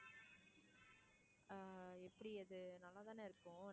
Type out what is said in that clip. ஆஹ் எப்படி அது நல்லா தானே இருக்கும்